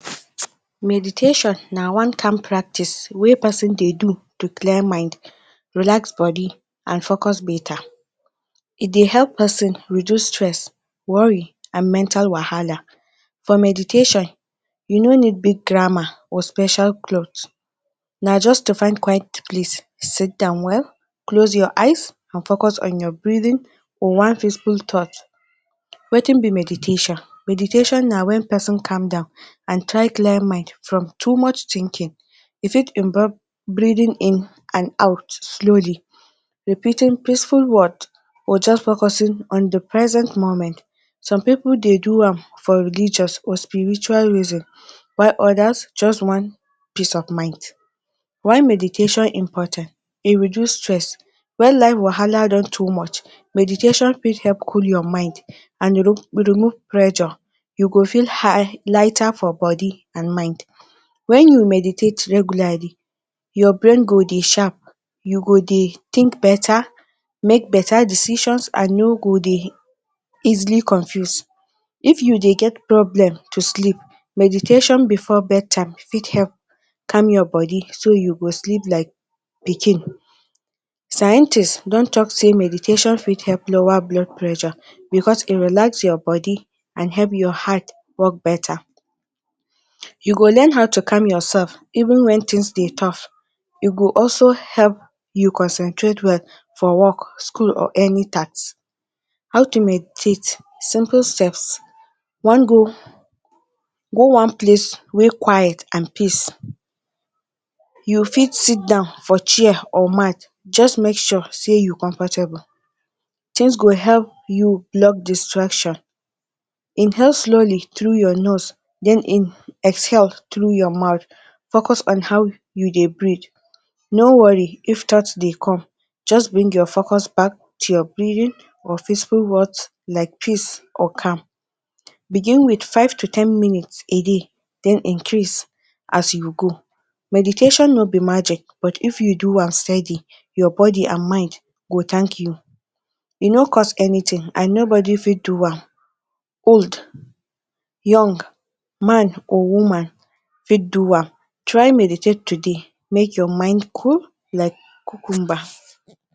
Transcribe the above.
Meditation na one kain practice wey pesin dey do to clear mind, relax body, and focus betta. E dey help pesin reduce stress, worry and mental wahala. For Meditation you no need big drama or special clothes, na just to find quiet place sidon well, close your eyes, and focus on you breathing or one physical thoughts. Wetin be meditation? Meditation na wen pesin calm down and try clear mind from too much thinking. E fit involved breathing in and out slowly, repeating peaceful words or just focusing on di present moment. Some pipo dey do am for religious or spiritual reason while odas just want peace of mind. Why meditation important? E Reduce stress. Wen life wahala don too much, meditation fit help cool your mind and remove pressure. You go feel lighter for body and mind wen you meditate regularly your brain go dey sharp, you go dey think betta, make betta decision and no go dey easily confuse. If you dey get problem to sleep, meditation bifor bed time fit help calm your body so you go sleep like pikin. Scientists don tok say meditation fit help lower blood pressure bicos e relax your body and help your heart work betta, you go learn how to calm yoursef even wen tins dey tough. E go also help you concentrate well for wok school or any task. How to meditate? Simple steps. One go go one place wey quiet and peace. You fit sidon for chair or mat just make sure say you comfortable tins go help you love distraction. Inhale slowly through your nose, then exhale through your mouth. Focus on how you dey breathe. No worry if thoughts dey come just bring your focus back to your breathing or physical words like peace or calm. Begin wit five to to ten minutes a day, den increase as you go. Meditation no bi magic but if you do am steady your body and mind go tank you. E no cost anytin and nobody fit do am, old, young, man, or woman fit do am. Try meditate today make your mind cool like cucumber.